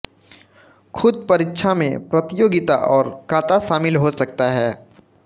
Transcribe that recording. खुद परीक्षा में प्रतियोगिता और काता शामिल हो सकता है